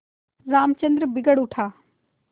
रामचंद्र बिगड़ उठा